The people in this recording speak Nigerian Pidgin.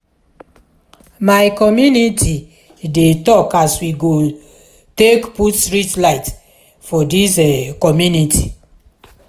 my community dey tok as we go take put street light for dis community.